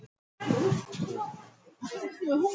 Og þá væri hægt að mynda þau öll.